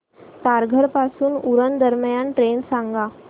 तारघर पासून उरण दरम्यान ट्रेन सांगा